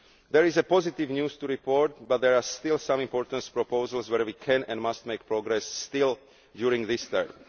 There is positive news to report but there are still some important proposals where we can and must make progress still during this